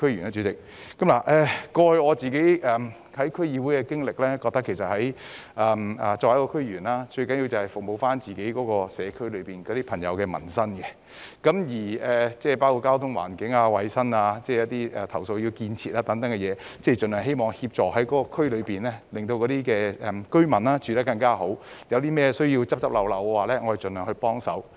根據過去在區議會的經歷，我覺得作為區議員，最重要的是服務所屬社區內的朋友的民生問題，包括交通、環境、衞生、投訴、建設等方面，盡量希望協助區內居民有更好的生活；如有甚麼需要"執漏"，我們亦會盡量幫忙。